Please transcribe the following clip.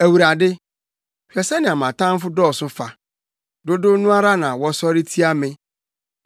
Awurade, hwɛ sɛnea mʼatamfo dɔɔso fa! dodow no ara na wɔsɔre tia me!